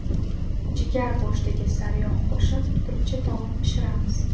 Jigar go‘shtiga sariyog‘ qo‘shib turkcha taom pishiramiz.